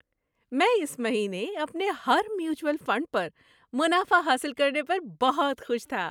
میں اس مہینے اپنے ہر میوچوئل فنڈ پر منافع حاصل کرنے پر بہت خوش تھا۔